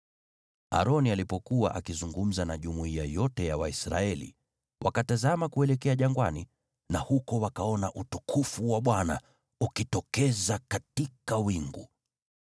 Aroni alipokuwa akizungumza na jumuiya yote ya Waisraeli, wakatazama kuelekea jangwani, na huko wakaona utukufu wa Bwana ukitokeza katika wingu.